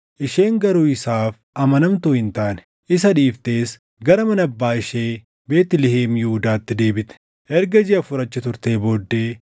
Isheen garuu isaaf amanamtuu hin taane. Isa dhiiftees gara mana abbaa ishee Beetlihem Yihuudaatti deebite. Erga jiʼa afur achi turtee booddee,